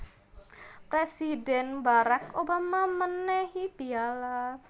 Presidhen Barrack Obama menehi piyala